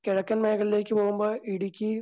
കിഴക്കൻ മേഖലകളിലേക്ക് പോകുമ്പോൾ ഇടുക്കി